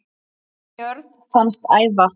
jörð fannst æva